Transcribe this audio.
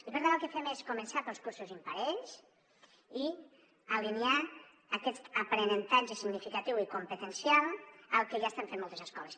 i per tant el que fem és començar pels cursos imparells i alinear aquest aprenentatge significatiu i competencial amb el que ja estan fent moltes escoles